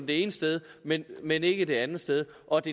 det ene sted men men ikke det andet sted og det